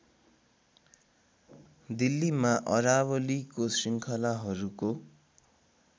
दिल्लीमा अरावलीको श्रृङ्खलाहरूको